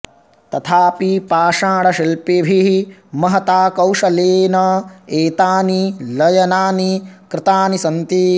तथापि पाषाणशिल्पिभिः महता कौशलेन एतानि लयनानि कृतानि सन्ति